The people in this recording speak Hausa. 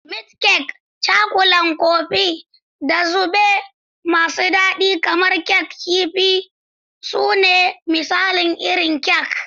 Meat kek, Cakulan Kofin, da zaɓe masu daɗi kamar Kek Kifi su ne misalan irin kek.